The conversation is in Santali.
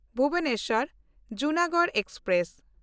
ᱵᱷᱩᱵᱚᱱᱮᱥᱣᱟᱨ–ᱡᱩᱱᱟᱜᱚᱲ ᱮᱠᱥᱯᱨᱮᱥ